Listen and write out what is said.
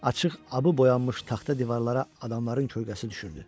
Açıq abı boyanmış taxta divarlara adamların kölgəsi düşürdü.